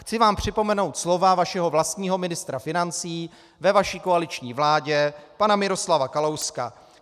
Chci vám připomenout slova vašeho vlastního ministra financí ve vaší koaliční vládě, pana Miroslava Kalouska.